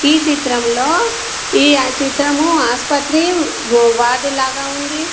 ఈ చిత్రంలో ఈ చిత్రము ఆసుపత్రి వార్డు లాగా ఉంది.